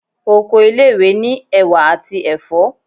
Oko ile-iwe ni ewà ati ẹfọ